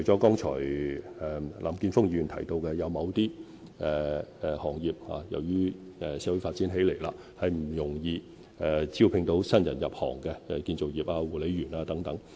剛才林健鋒議員提到，由於社會不斷發展，某些行業難以招聘新人入行，例如建造業工人和護理員等。